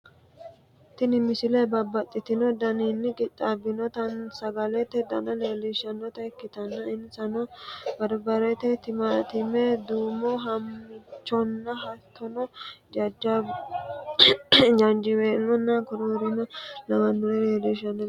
tini misile babbaxxino daninni qixxaabbinota sagalete dana leellishshanota ikkitanna insano barbare timaattime duumo ha'michonna hattono jaanjiweelonna koroorima lawannore leellishshanno misileeti